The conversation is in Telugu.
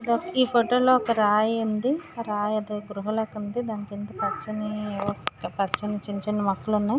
ఈ ఫోటో లో ఒక రాయి ఉంది. ఆ రాయి ఏదో గృహ లాగా ఉంది. దాని కింద పచ్చని పచ్చని చిన్న చిన్న మొక్కలు ఉన్నాయ్.